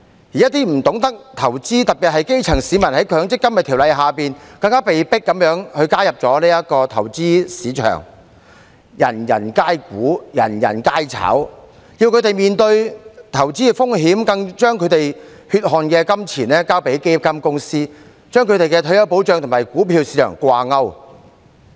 此外，一些不懂得投資的市民，特別是基層市民，在《強制性公積金計劃條例》下更被迫加入這個投資市場，"人人皆股，人人皆炒"，政府要他們面對投資風險，更將他們的血汗金錢交予基金公司，將他們的退休保障與股票市場掛鈎。